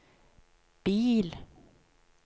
bil